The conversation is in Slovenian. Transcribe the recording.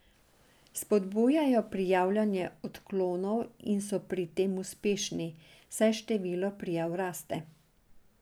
Spodbujajo prijavljanje odklonov in so pri tem uspešni, saj število prijav raste.